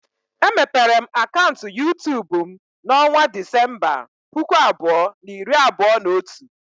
Emepere m akaụntụ YuTubu m na onwa Disemba, puku abụọ na iri abụọ na otu.